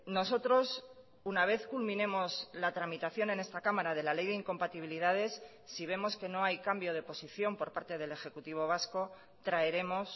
nosotros una vez culminemos la tramitación en esta cámara de la ley de incompatibilidades si vemos que no hay cambio de posición por parte del ejecutivo vasco traeremos